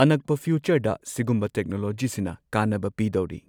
ꯑꯅꯛꯄ ꯐ꯭ꯌꯨꯆꯔꯗ ꯁꯤꯒꯨꯝꯕ ꯇꯦꯛꯅꯣꯂꯣꯖꯤꯁꯤꯅ ꯀꯥꯟꯅꯕ ꯄꯤꯗꯧꯔꯤ꯫